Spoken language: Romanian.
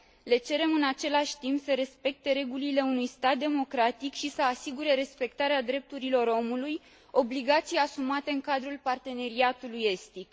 Le cerem în același timp să respecte regulile unui stat democratic și să asigure respectarea drepturilor omului, obligații asumate în cadrul Parteneriatului Estic.